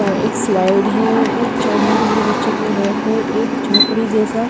एक स्लाइड है के लिए बच्चों के लिए रेक है एक झोपड़ी जैसा--